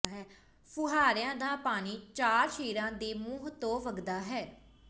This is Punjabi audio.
ਫੁਹਾਰਿਆਂ ਦਾ ਪਾਣੀ ਚਾਰ ਸ਼ੇਰਾਂ ਦੇ ਮੂੰਹ ਤੋਂ ਵਗਦਾ ਹੈ